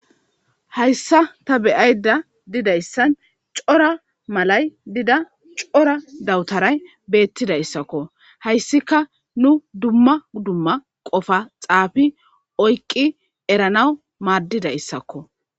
Hayssa ta beyayda didayssan cora malay dida cora dawutaray beettidayssakko hayssika nu dumma dumma qofa xaafi oyqqi eranaw maaddidayssakko.